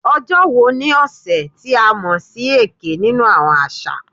"Ojo wo ni ọsẹ ti a mọ si "Eke" ninu awọn aṣa?"